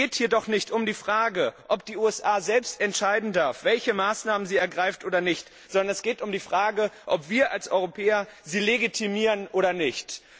Es geht hier doch nicht um die Frage, ob die USA selbst entscheiden dürfen, welche Maßnahmen sie ergreifen oder nicht, sondern es geht um die Frage, ob wir als Europäer sie legitimieren oder nicht.